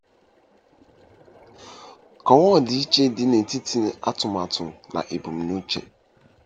Kọwaa ọdịiche dị n'etiti atụmatụ na ebumnuche.